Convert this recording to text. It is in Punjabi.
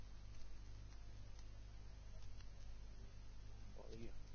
ਓਹੀ